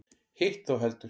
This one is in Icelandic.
Hitt þó heldur.